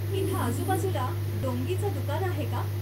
इथं आजूबाजूला डोंगीचं दुकान आहे का?